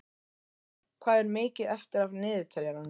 Nóvember, hvað er mikið eftir af niðurteljaranum?